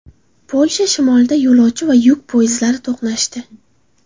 Polsha shimolida yo‘lovchi va yuk poyezdlari to‘qnashdi.